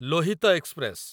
Lohit express